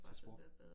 Til swap